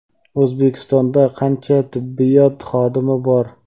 O‘zbekistonda qancha tibbiyot xodimi bor?.